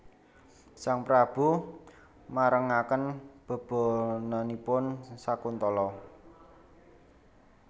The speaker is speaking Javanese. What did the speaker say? Sang Prabu marengaken bebananipun Sakuntala